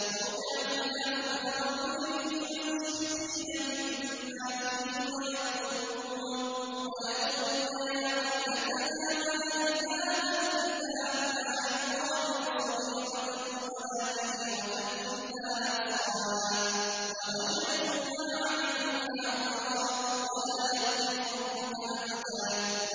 وَوُضِعَ الْكِتَابُ فَتَرَى الْمُجْرِمِينَ مُشْفِقِينَ مِمَّا فِيهِ وَيَقُولُونَ يَا وَيْلَتَنَا مَالِ هَٰذَا الْكِتَابِ لَا يُغَادِرُ صَغِيرَةً وَلَا كَبِيرَةً إِلَّا أَحْصَاهَا ۚ وَوَجَدُوا مَا عَمِلُوا حَاضِرًا ۗ وَلَا يَظْلِمُ رَبُّكَ أَحَدًا